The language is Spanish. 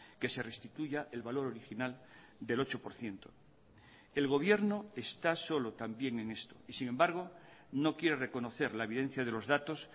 que se restituya el valor original del ocho por ciento el gobierno está solo también en esto y sin embargo no quiere reconocer la evidencia de los datos